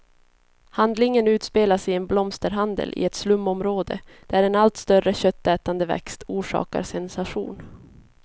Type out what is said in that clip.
Handlingen utspelas i en blomsterhandel i ett slumområde, där en allt större köttätande växt orsakar sensation.